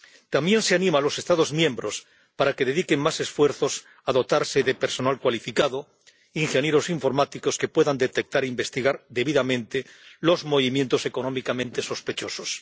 También se anima a los Estados miembros a que dediquen más esfuerzos a dotarse de personal cualificado, ingenieros informáticos que puedan detectar e investigar debidamente los movimientos económicamente sospechosos.